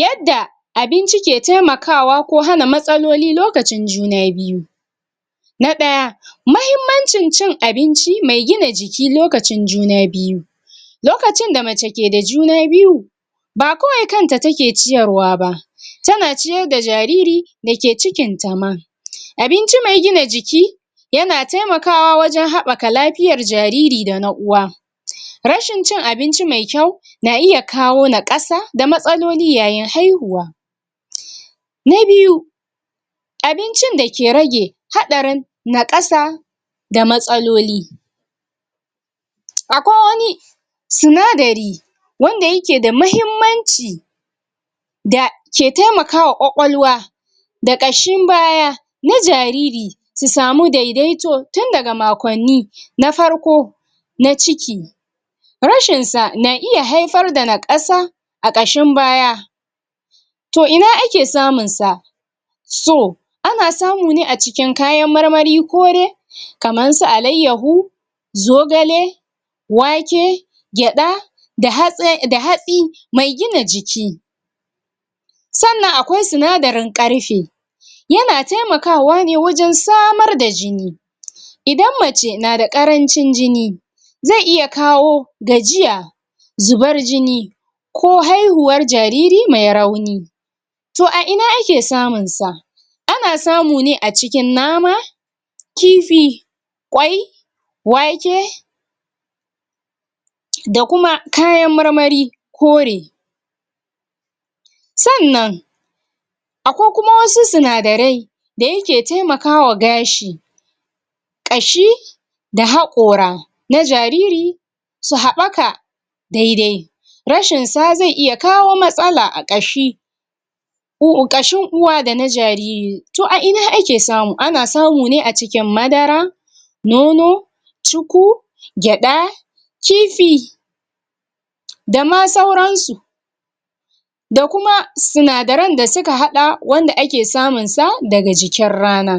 Yadda abinci ke temakawa ko hanna matsaloli lokacin juna biyu na ɗaya mahimmancin cin abinci me gina jiki lokacin juna biyu lokacin da mace keda juna biyu ba kawai kanta take ciyarwa tana ciyarda ja riri dake cikinta ma abinci me gina jiki yana temakawa wajan haɓaka lafiya jariri da na uwa rashin cin abinci me kyau na iya kawo naƙasa da matsaloli yayin haihuwa na biyu abincin dake rage haɗarin naƙasa da matsaloli akwai wani suna dari wanda yake da mahimmanci da ke temakawa kwakwalwa da ƙashin baya na jariri su samu dedaito tin daga makonni na farko na ciki rashin sa na iya haifar da naƙasa aƙashin baya to ina ake samun sa so ana samune acikin kayan marmari kore kamansu alaiyahu zogale wake gyaɗa da hatsi mai gina jiki sannan akwai sinadarin karfe yana temakawa ne wajan samar da jini idan mace nada ƙarancin jini ze iya kawo ga jiya zubar jini ko haihuwar jariri ma rauni to aina ake samun sa ana samune acikin nama kifi kwai wake dakuma kaya mar mari kore sannan akwai kuma wasu suna darai da yake temakawa gashi ƙashi da haƙora na jariri su haɓaka dedai rashin sa ze iya kawo matsala a ƙashi ƙashin uwa dana jariri to a'ina ake samu ana samune acikin madara nono cuku gyaɗa kifi dama sauransu da kuma suna daran dasuka haɗa wanda akesamunsa daga jikin rana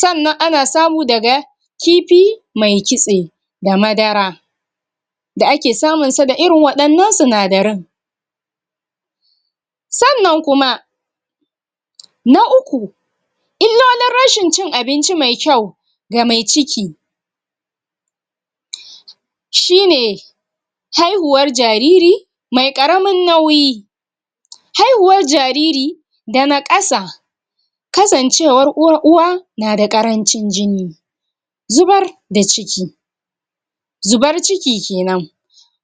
sannan ana samu daga kifi mai kitse da madara da ake samunsa da irin waɗannan sinadarin sannan kuma na uku illolin rashin cin abinci me kyau ga mai ciki shine haihuwar jariri me ƙaramun nauyi haihuwar jariri da naƙasa kasancewar uwa uwa nada ƙarancin jini zubar da ciki zubar ciki kenan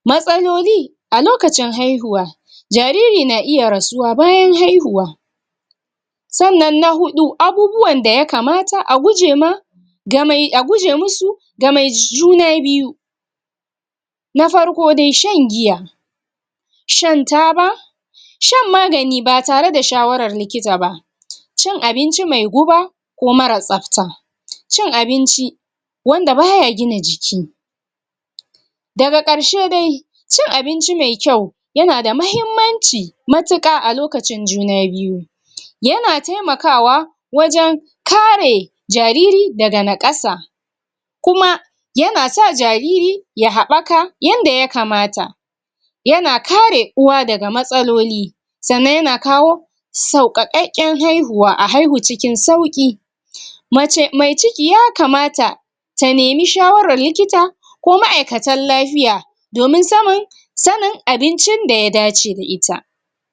matsaloli alokacin haihuwa jariri na iya rasuwa bayan haihuwa sannan na huɗu abubuwan da yakamata agujema gamai aguje musu gamai juna biyu na farko dai shan giya shan taba shan magani batare da shawarar likitaba cin abinci me guba ko mara tsafta cin abinci wanda baya gina jiki daga ƙarshe dai cin abinci me kyau yanada mahimmanci matuƙa alokacin juna biyu yana temakawa wajan kare jariri daga naƙasa kuma yanasa jariri yahaɓaka yanda yakamata yana kare uwa daga matsaloli sannan yana kawo sauka ƙakken haihuwa a haihu cikin sauki mace me ciki yaka mata ta nemi shawarar likita ko ma aikatan lafiya domin samun sanin abincin da ya dace da ita